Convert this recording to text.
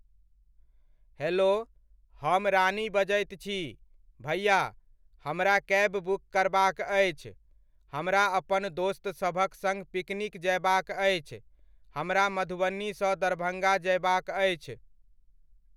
Hello! हम रानी बजैत छी। भैया, हमरा कैब बुक करबाक अछि, हमरा अपन दोस्तसभक सङ्ग पिकनिक जयबाक अछि, हमरा मधुबनीसँ दरभङ्गा जयबाक अछि।